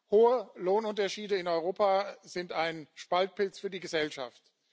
Hohe Lohnunterschiede in Europa sind ein Spaltpilz für die Gesellschaft.